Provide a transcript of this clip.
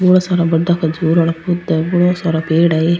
बहुत सारा बड़ा खजूर आला पौधा है बोला सारा पेड़ है ये।